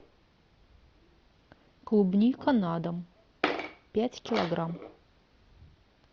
клубника на дом пять килограмм